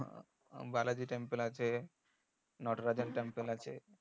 Balaji temple আছে temple আছে